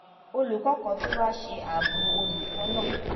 olùkó kan tó wá ṣe àbò olùkó náà